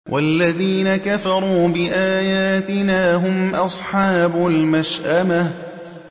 وَالَّذِينَ كَفَرُوا بِآيَاتِنَا هُمْ أَصْحَابُ الْمَشْأَمَةِ